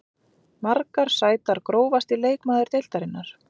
Margar sætar Grófasti leikmaður deildarinnar?